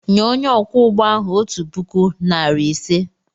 Nye onye ọkwọ ụgbọ ahụ otu puku, narị ise!